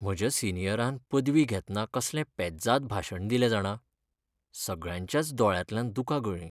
म्हज्या सिनीयरान पदवी घेतना कसलें पेज्जाद भाशण दिलें जाणा, सगळ्यांच्याच दोळ्यांतल्यान दुकां गळ्ळीं.